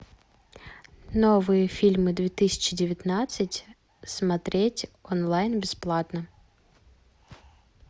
новые фильмы две тысячи девятнадцать смотреть онлайн бесплатно